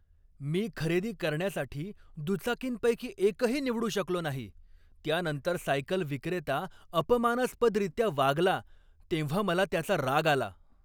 मी खरेदी करण्यासाठी दुचाकींपैकी एकही निवडू शकलो नाही, त्यानंतर सायकल विक्रेता अपमानास्पदरीत्या वागला तेव्हा मला त्याचा राग आला.